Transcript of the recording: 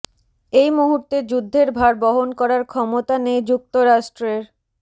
এই মুহূর্তে যুদ্ধের ভার বহন করার ক্ষমতা নেই যুক্তরাষ্ট্রের